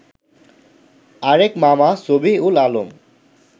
আরেক মামা সবিহ উল আলম